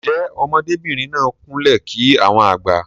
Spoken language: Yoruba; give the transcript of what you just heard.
Njé ọmọdé bìrìn náà kún lè kí àwọn àgbà?